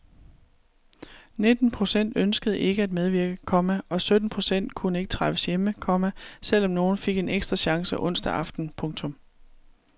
Nitten procent ønskede ikke at medvirke, komma og sytten procent kunne ikke træffes hjemme, komma selv om nogle fik en ekstra chance onsdag aften. punktum